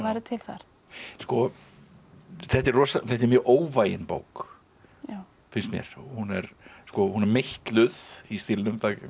til þar þetta er þetta er mjög óvægin bók finnst mér hún er hún er meitluð í stílnum